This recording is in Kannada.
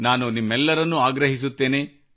ನಾನು ನಿಮ್ಮೆಲ್ಲರನ್ನು ಆಗ್ರಹಿಸುತ್ತೇನೆ